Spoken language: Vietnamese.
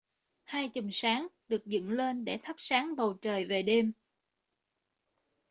hai chùm sáng được dựng lên để thắp sáng bầu trời về đêm